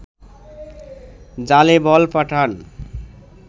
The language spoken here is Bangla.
জালে বল পাঠান